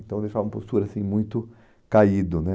Então deixava uma postura, assim, muito caído, né?